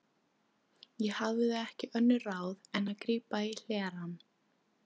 Ég hafði ekki önnur ráð en að grípa í hlerann.